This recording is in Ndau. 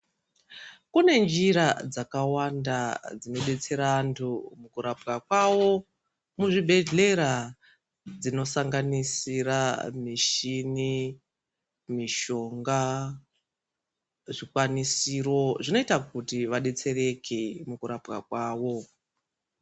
Kune njira dzakawanda dzinodetsera antu kurapwa kwavo muzvibhedhlera dzinosanganisira mishini mishonga zvikwanisiro zvinoita kuti vadetsereke mukurapwa kwavo.